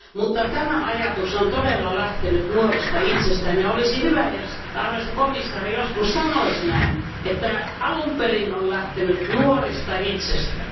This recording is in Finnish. Mutta tämä ajatus on todella lähtenyt nuorista itsestään, ja olisi hyvä, jos arvoisa komission jäsen joskus sanoisi tämän, että ajatus on alun perin lähtenyt nuorista itsestään.